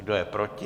Kdo je proti?